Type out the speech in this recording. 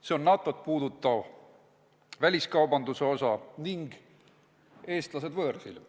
See on NATO-t puudutav, väliskaubanduse osa ning teema "Eestlased võõrsil".